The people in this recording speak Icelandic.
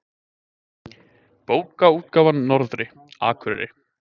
Bókaútgáfan Norðri, Akureyri.